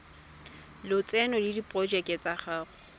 lotseno le diporojeke tsa go